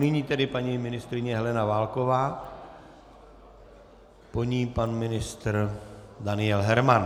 Nyní tedy paní ministryně Helena Válková, po ní pan ministr Daniel Herman.